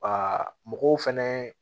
mɔgɔw fɛnɛ